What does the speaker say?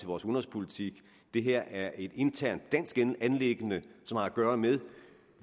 vores udenrigspolitik det her er et internt dansk anliggende som har at gøre med